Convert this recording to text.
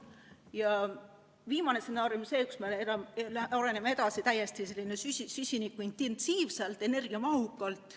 Ja viimane stsenaarium on see, mille kohaselt me areneme edasi täiesti süsinikuintensiivselt, energiamahukalt.